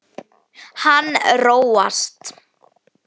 Hann róast.